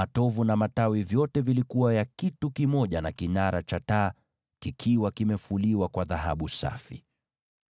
Matovu na matawi yote yalikuwa kitu kimoja na kile kinara cha taa, yakiwa yamefuliwa kwa dhahabu safi.